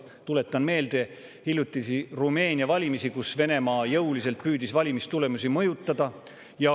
Tuletan meelde hiljutisi Rumeenia valimisi, kui Venemaa püüdis jõuliselt valimistulemusi mõjutada.